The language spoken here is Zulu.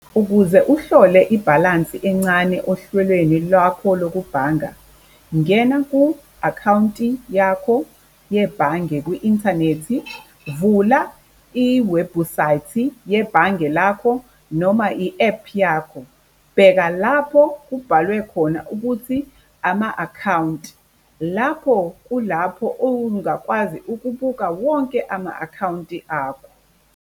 Ukuze uhlole ibhalansi encane ohlwelweni lwakho lokubhanga, ngena ku-akhawunti yakho yebhange kwi-inthanethi, vula iwebhusayithi yebhange lakho noma i-app yakho, bheka lapho kubhalwe khona ukuthi ama-akhawunti. Lapho kulapho ungakwazi ukubuka wonke ama-akhawunti akho.